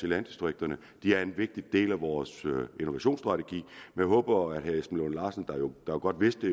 landdistrikterne de er en vigtig del af vores innovationsstrategi jeg håber at herre esben lunde larsen der godt vidste